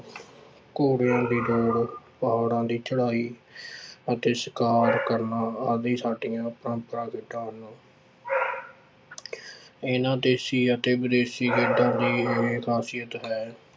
ਘੋੜਿਆਂ ਦੀ ਦੌੜ, ਪਹਾੜਾਂ ਦੀ ਚੜ੍ਹਾਈ ਅਤੇ ਸ਼ਿਕਾਰ ਕਰਨਾ ਆਦਿ ਸਾਡੀਆਂ ਇਹਨਾਂ ਦੇਸੀ ਅਤੇ ਵਿਦੇਸੀ ਖੇਡਾਂ ਦੀ ਇਹ ਖਾਸਿਅਤ ਹੈ